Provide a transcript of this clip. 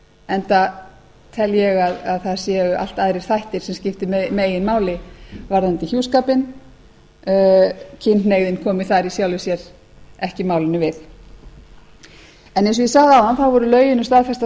enda tel ég að það séu allt aðrir þættir sem skipti meginmáli varðandi hjúskapinn kynhneigðin komi þar í sjálfu sér ekki málinu við eins og ég sagði áðan voru lögin um staðfesta